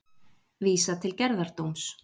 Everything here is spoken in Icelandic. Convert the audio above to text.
Vísað til gerðardóms